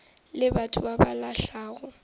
le batho ba ba lahlago